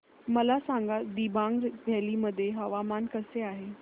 मला सांगा दिबांग व्हॅली मध्ये हवामान कसे आहे